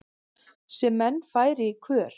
sem menn færi í kör